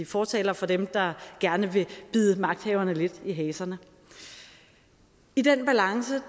fortaler for dem der gerne vil bide magthaverne lidt i haserne i den balance